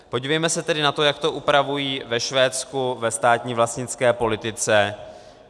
Podívejme se tedy na to, jak to upravují ve Švédsku ve státní vlastnické politice.